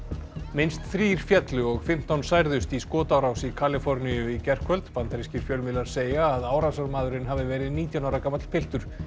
minnst þrír féllu og fimmtán særðust í skotárás í Kaliforníu í gærkvöld bandarískir fjölmiðlar segja að árásarmaðurinn hafi verið nítján ára gamall piltur